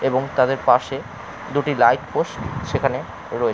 এবং তাদের পাশে দুটি লাইট পোস্ট সেখানে রয়েছে।